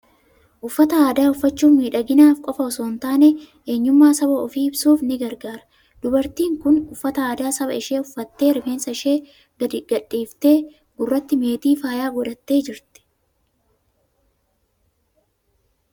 Uffata aadaa uffachuun miidhaginaaf qofaa osoo in taane, eenyummaa saba ofii ibsuufis ni gargaara. Dubartiin kun uffata aadaa saba ishee uffattee, rifeensa ishee gadi gadhiifattee, gurratti meetii faayaa godhattee jirti.